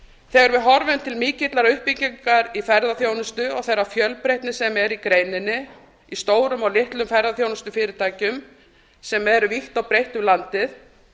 við horfum til mikillar uppbyggingar í ferðaþjónustu og þeirrar fjölbreytni sem er í greininni í stórum og litlum ferðaþjónustufyrirtækjum sem eru vítt og breitt um landið